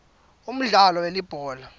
umdlalo welibhola